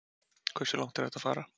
Hversu langt er hægt að fara?